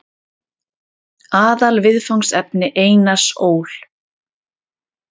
Aðalviðfangsefni Einars Ól.